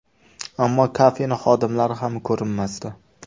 Ammo kafening xodimlari ham ko‘rinmasdi.